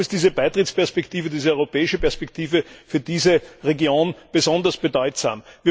Darum ist diese Beitrittsperspektive, diese europäische Perspektive, für diese Region besonders bedeutsam.